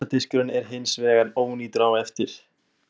Geisladiskurinn er hins vegar ónýtur á eftir.